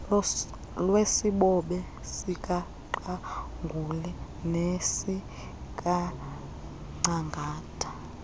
lwesibobe sikaqangule nesikangcangata